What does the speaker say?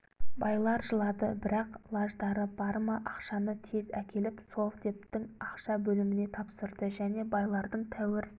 байлар жылады бірақ лаждары бар ма ақшаны тез әкеліп совдептің ақша бөліміне тапсырды және байлардың тәуір